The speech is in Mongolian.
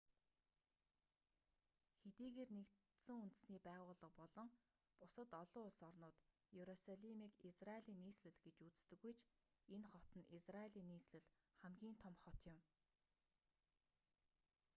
хэдийгээр нэгдсэн үндэсний байгууллага болон бусад олон улс орнууд иерусалимыг израилийн нийслэл гэж үздэггүй ч энэ хот нь израилийн нийслэл хамгийн том хот юм